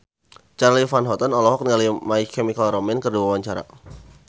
Charly Van Houten olohok ningali My Chemical Romance keur diwawancara